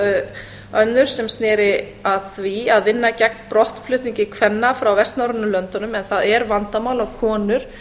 í viðbót önnur sem sneri að því að vinna gegn brottflutningi kvenna frá vestnorrænu löndunum en það er vandamál að konur